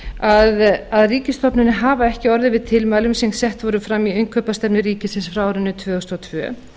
á undan að ríkisstofnanir hafa ekki orðið við tilmælum sem sett eru fram í innkaupastefnu ríkisins frá árinu tvö þúsund og tvö